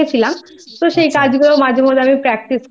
একটু Makeup Artist শিখেছিলাম তো আচ্ছা কাজগুলো